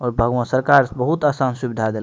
और भगवान सरकार बहुत आसान सुविधा देल --